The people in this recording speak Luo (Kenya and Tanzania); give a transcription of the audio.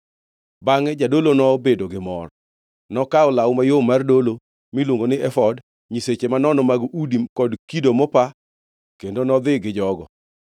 Bangʼe jadolo nobedo gi mor. Nokawo law mayom mar dolo miluongo ni efod, nyiseche manono mag udi kod kido mopa kendo nodhi gi jogo.